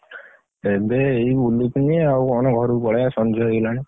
ଏବେ ଏଇ ବୁଲୁଥିଲି ଆଉ କଣ ଘରୁକୁ ପଳେଇଆ ସଞ୍ଜ ହେଇଗଲାଣି।